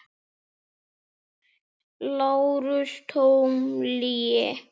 LÁRUS: Tóm lygi!